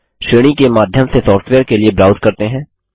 श्रेणी के माध्यम से सॉफ्टवेयर के लिए ब्राउज करते हैं